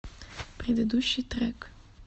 предыдущий трек